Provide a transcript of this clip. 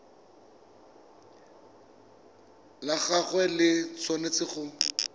la gagwe le tshwanetse go